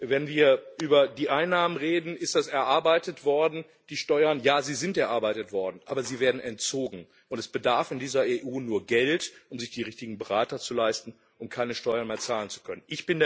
Wenn wir über die Einnahmen reden, ist das erarbeitet worden Ja, die Steuern sind erarbeitet worden, aber sie werden entzogen, und es bedarf in dieser EU nur Geld, um sich die richtigen Berater zu leisten, um keine Steuern mehr zahlen zu können.